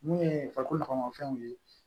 Mun ye farikolomafɛnw ye